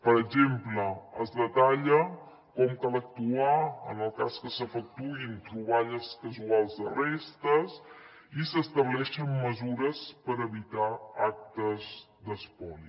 per exemple es detalla com cal actuar en el cas que s’efectuïn troballes casuals de restes i s’estableixen mesures per evitar actes d’espoli